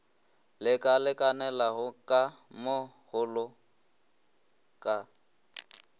lekalekanela ka mo go ka